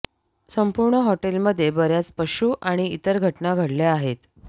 संपूर्ण हॉटेलमध्ये बर्याच पशू आणि इतर घटना घडल्या आहेत